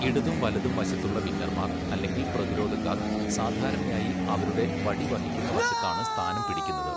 ഇടതും വലതും വശത്തുള്ള വിങ്ങർമാർ അല്ലെങ്കിൽ പ്രതിരോധക്കാർ സാധാരണയായി അവരുടെ വടി വഹിക്കുന്ന വശത്താണ് സ്ഥാനം പിടിക്കുന്നത്.